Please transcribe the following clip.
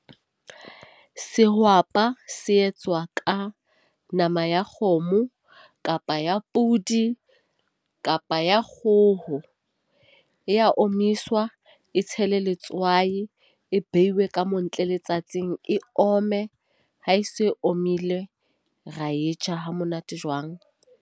Sehwapa se etswa ka nama ya kgomo kapa ya podi kapa ya kgoho. E ya omiswa. E tshelwe letswai e behilwe ka montle letsatsing e omme. Ha e se omile, ra e ja hamonate jwang.